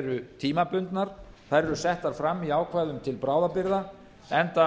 eru tímabundnar þær eru settar fram í ákvæðum til bráðabirgða enda